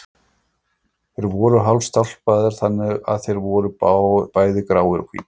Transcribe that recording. Þeir voru hálfstálpaðir, þannig að þeir voru bæði gráir og hvítir.